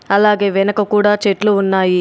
అలాగే వెనక కూడా చెట్లు ఉన్నాయి.